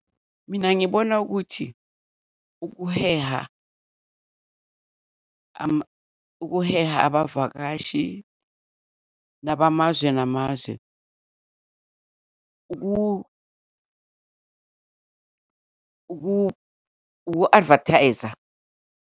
Mina ngibona ukuthi ukuheha ukuheha abavakashi nabamazwe namazwe uku-advertiser.